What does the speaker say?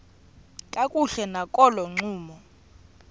kakuhle nakolo ncumo